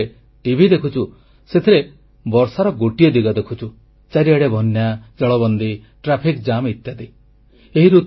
ଆମେ ଯେତେବେଳେ ଟିଭି ଦେଖୁଛୁ ସେଥିରେ ବର୍ଷାର ଗୋଟିଏ ଦିଗ ଦେଖୁଛୁ ଚାରିଆଡ଼େ ବନ୍ୟା ଜଳବନ୍ଦୀ ଟ୍ରାଫିକ ଜାମ୍ ଇତ୍ୟାଦି